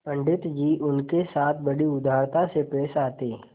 पंडित जी उनके साथ बड़ी उदारता से पेश आते